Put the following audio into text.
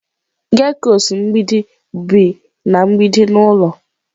Geckos mgbidi bi na mgbidi n'ụlọ.